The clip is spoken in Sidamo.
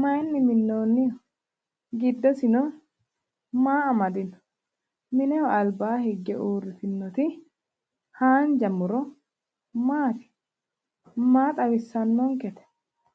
mayinni minoonniho? Giddosino maa amadino? Mineho albaa higge uurritinoti haanja muro maati? Maa xawissannonkete?